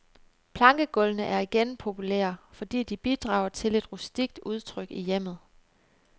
Plankegulvene er igen populære, fordi de bidrager til et rustikt udtryk i hjemmet.